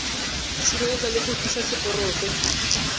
sireletsa le go tiisa seporofe